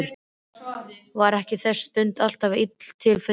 Var ekki þessi stund alltaf illa til fundin?